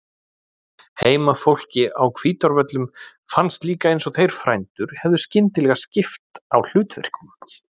Heimafólki á Hvítárvöllum fannst líka eins og þeir frændur hefðu skyndilega skipt á hlutverkum.